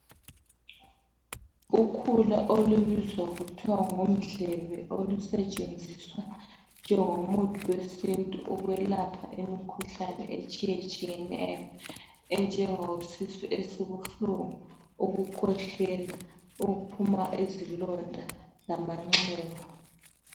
Ukhula lwesintu olubizwa kuthiwe ngumdlebe oluswtsgenziswa njengomuthi wesintu ukuyelapha izifo ezitshiyeneyo enjenge sisu esibuhlungu ukukhwehlela ukuphuma izilonda lamanxeba